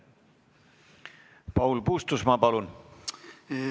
Paul Puustusmaa, palun!